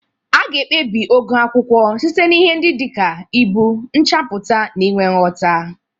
A ga-ekpebi ogo akwụkwọ site na ihe ndị dị ka ibu, nchapụta, na inwe nghota.